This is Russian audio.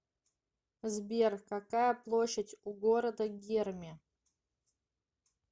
сбер какая площадь у города герми